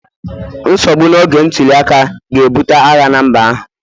nsogbu n'oge ntuli aka ga-ebute agha na mba ahụ